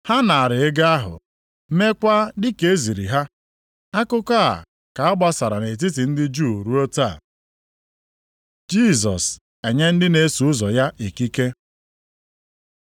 Ha naara ego ahụ, meekwa dị ka e ziri ha. Akụkọ a ka a gbasara nʼetiti ndị Juu ruo taa. Jisọs enye ndị na-eso ụzọ ya ikike